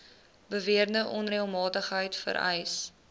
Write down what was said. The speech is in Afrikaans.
beweerde onreëlmatigheid vereis